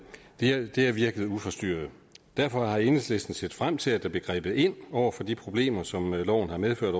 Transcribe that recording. det har virket uforstyrret derfor havde enhedslisten set frem til at der ville blive grebet ind over for de problemer som loven har medført